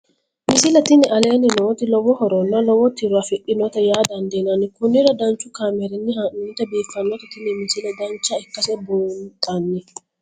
misile tini aleenni nooti lowo horonna lowo tiro afidhinote yaa dandiinanni konnira danchu kaameerinni haa'noonnite biiffannote tini misile dancha ikkase buunxanni